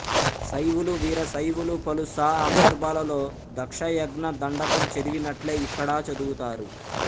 శైవులు వీర శైవులు పలు సఆందర్భాలలో దక్షయజ్ఞ దండకం చదివినట్లె ఇక్కడా చదువుతారు